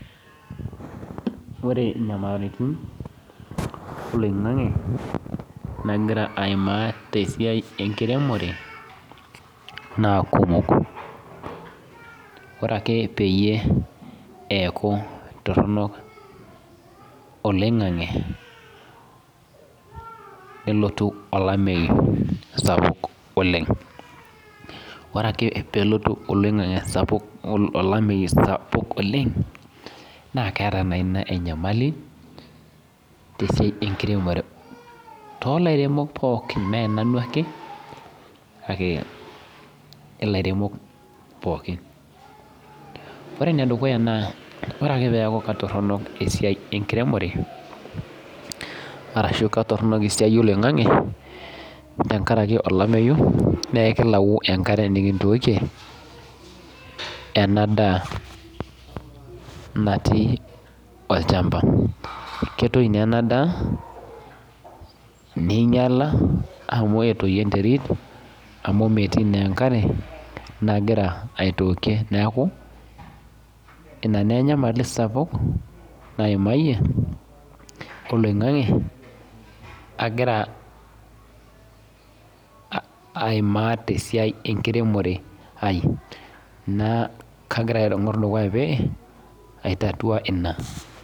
Ore nyamalitin oloingangi nagira aimaa tesiai enkiremore na kumok ore ake peaku toronok olameyu nelotu olameyu toronok oleng ore akepelotu olameyu sapuk oleng na keera inab enyamali tolaremok pookin me nanu ake kake ilairemok pookin ore enedukuyateneaku ketoronok esiai enkiremore ashu ketoronok esiai oloingangi tenkaraki olameyu na ekilau enkare nikintookie enadaa natii olchamba ketoi na ina daa ninyala amu etoyio enterit amu metii na enkarre nagira aitookie neaku inake enyamali sapuk naimayie oloingangi agira aimaa tesia enkiremore aai nakigara aitangor dukuya paitatua ina.